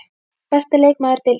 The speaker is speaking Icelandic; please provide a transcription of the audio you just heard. Besti leikmaður Deildarinnar?